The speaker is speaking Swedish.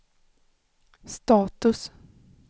status